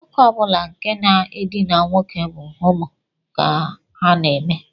Nwoke ọ bụla nke na-edina nwoke bụ homo ka ha na-eme